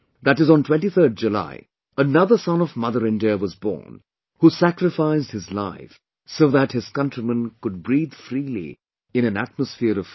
on July 23, another son of Mother India was born, who sacrificed his life so that his countrymen could breathe freely in an atomsphere of freedom